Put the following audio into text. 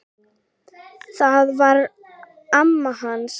Það var amma hans